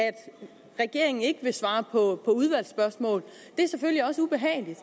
regeringen ikke vil svare på udvalgsspørgsmål det er selvfølgelig også ubehageligt